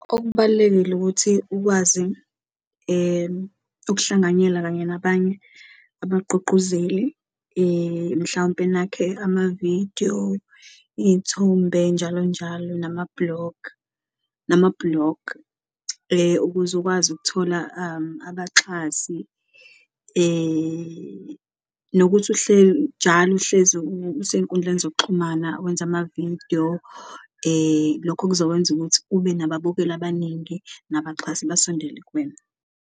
Okubalulekile ukuthi ukwazi ukuhlanganyela kanye nabanye abagqugquzeli, mhlawumpe nakhe amavidiyo, iy'thombe njalo njalo, nama-blog nama-blog. Ukuze ukwazi ukuthola abaxhasi nokuthi njalo uhlezi usenkundleni zokuxhumana wenza amavidiyo, lokho kuzokwenza ukuthi ube nababukeli abaningi nabaxhasi basondele kuwena.